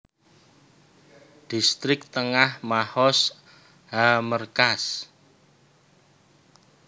Distrik Tengah Mahoz HaMerkaz